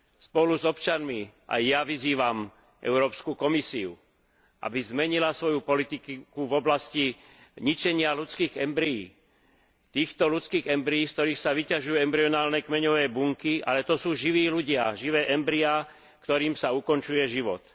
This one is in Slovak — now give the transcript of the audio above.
Spolu s občanmi aj ja vyzývam Európsku komisiu, aby zmenila svoju politiku v oblasti ničenia ľudských embryí, týchto ľudských embryí, z ktorých sa vyťažujú embryonálne kmeňové bunky, ale to sú živí ľudia, živé embryá, ktorým sa ukončuje život.